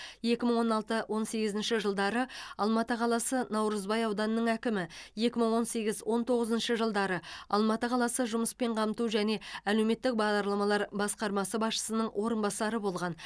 екі мың он алты он сегізінші жылдары алматы қаласы наурызбай ауданының әкімі екі мың он сегіз он тоғызыншы жылдары алматы қаласы жұмыспен қамту және әлеуметтік бағдарламалар басқармасы басшысының орынбасары болған